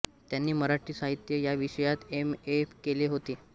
त्यांनी मराठी साहित्य या विषयात एम ए केले होते